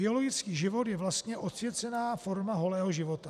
Biologický život je vlastně odsvěcená forma holého života.